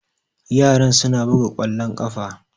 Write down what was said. Yaran suna buga ƙwallon ƙafa